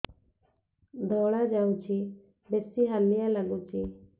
ଧଳା ଯାଉଛି ବେଶି ହାଲିଆ ଲାଗୁଚି